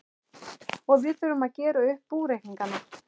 Og við þurfum að gera upp búreikningana!